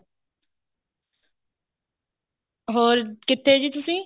ਹੋਰ ਕਿੱਥੇ ਜੀ ਤੁਸੀਂ